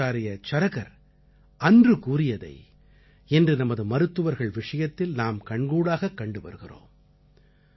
ஆச்சார்ய சரகர் அன்று கூறியதை இன்று நமது மருத்துவர்கள் விஷயத்தில் நாம் கண்கூடாகக் கண்டு வருகிறோம்